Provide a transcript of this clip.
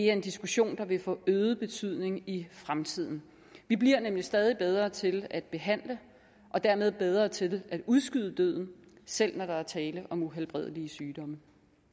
er en diskussion der vil få øget betydning i fremtiden vi bliver nemlig stadig bedre til at behandle og dermed bedre til at udskyde døden selv når der er tale om uhelbredelige sygdomme